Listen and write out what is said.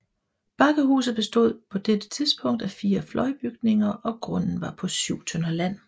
Bakkehuset bestod på dette tidspunkt af fire fløjbygninger og grunden var på 7 tønder land